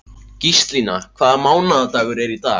Gíslína, hvaða mánaðardagur er í dag?